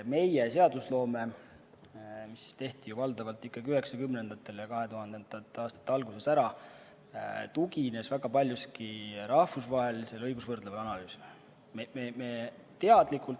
Meie seadused, mis tehti ju valdavalt ikkagi 1990-ndatel ja 2000. aastate alguses, tuginesid väga paljuski rahvusvahelisele õigusvõrdlevale analüüsile.